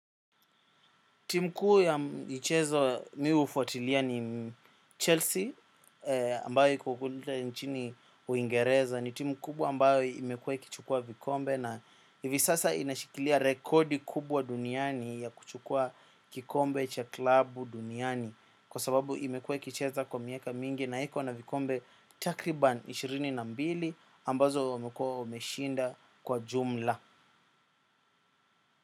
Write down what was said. Timu kuu ya michezo mi hufuatilia ni Chelsea ambayo iko kuduta nchini uingereza ni timu kubwa ambayo imekuwa ikichukuwa vikombe na hivi sasa inashikilia rekodi kubwa duniani ya kuchukua kikombe cha klabu duniani kwa sababu imekuwa ikicheza kwa miaka mingi na iko na vikombe. Takriban ishirini na mbili ambazo wamekuwa wameshinda kwa jumla.